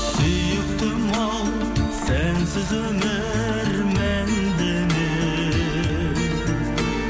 сүйіктім ау сәнсіз өмір мәнді ме